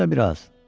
Gözlə biraz.